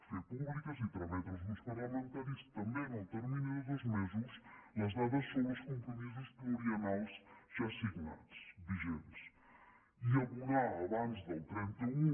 fer públiques i trametre als grups parlamentaris també en el termini de dos mesos les dades sobre els compromisos pluriennals ja signats vigents i abonar abans del trenta un